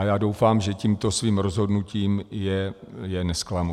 A já doufám, že tímto svým rozhodnutím je nezklamu.